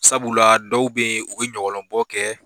Sabula dɔw bɛ yen u bɛ ɲɔgɔlɔnbɔ kɛ